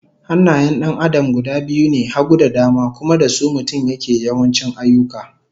Hannayen 'yan Adam guda biyu ne, hagu da dama, kuma da su mutum yake yawanci ayyuka